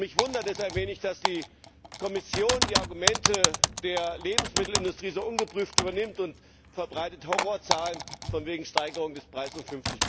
Mich wundert es ein wenig, dass die Kommission die Argumente der Lebensmittelindustrie so ungeprüft übernimmt und Horrorzahlen verbreitet, von wegen Steigerung des Preises um